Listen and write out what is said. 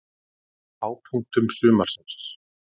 Einn af hápunktum sumarsins.